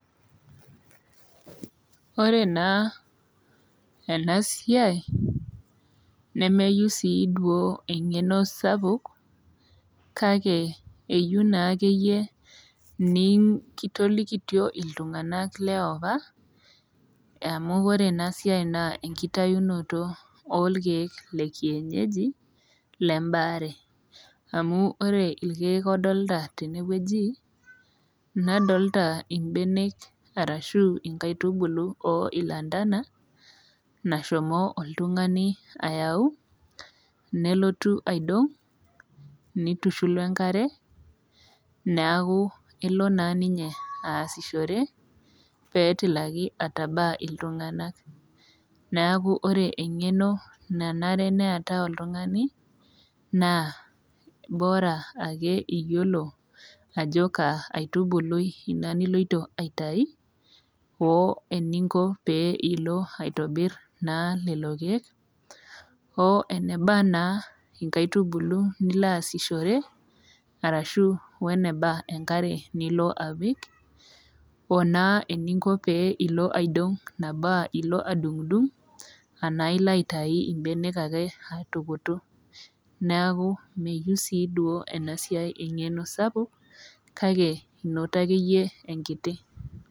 Ore naa enasiai nemeyou sii duoo eng'eno sapuk kake eyou naakeyie niinkitolikitio iltung'anak leopa amu ore enasiai naa enkitayunoto oolkeek le kienyeji lembaare. Amu ore ilkeek odolita tenewueji nadolita imbenek arashu inkaitubulu oo ilantana nashomo oltungani ayau nelotu aidong', neitushul oenkare neaku elo naa ninye aasishore peetilaki atabaa iltung'anak. Neaku ore eng'eno nanare neetau oltung'ani naa  bora ake iyiolo ajo kaa aitubului ina niloito aitai oo eninko pee piilo aitobirr naa lelo keek o enaba naa inkaitubulu niloasishore arashu o eneba enkare nilo apik o naa eninko pee elo aidong' nabo aa ilo adung'udung' anaa ilo aitai imbenek ake aitukutu. Neaku meyou sii duo enasiai eng'eno sapuk kake inoto akeyie enkiti.